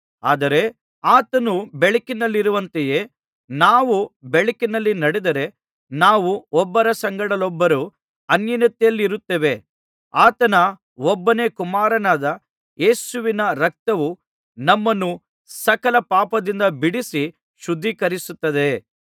ಆದರೆ ಆತನು ಬೆಳಕಿನಲ್ಲಿರುವಂತೆಯೇ ನಾವೂ ಬೆಳಕಿನಲ್ಲಿ ನಡೆದರೆ ನಾವು ಒಬ್ಬರ ಸಂಗಡಲ್ಲೊಬ್ಬರು ಅನ್ಯೋನ್ಯತೆಯಲ್ಲಿರುತ್ತೇವೆ ಆತನ ಒಬ್ಬನೇ ಕುಮಾರನಾದ ಯೇಸುವಿನ ರಕ್ತವು ನಮ್ಮನ್ನು ಸಕಲ ಪಾಪದಿಂದ ಬಿಡಿಸಿ ಶುದ್ಧೀಕರಿಸುತ್ತದೆ